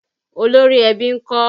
Olórí ẹbí ń kọ́?